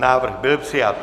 Návrh byl přijat.